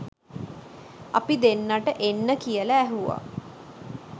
අපි දෙන්නට එන්න කියලා ඇහුවා